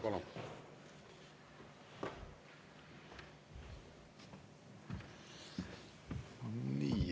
Palun!